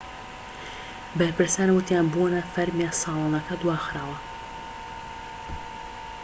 بەرپرسان وتیان بۆنە فەرمیە ساڵانەکە دواخراوە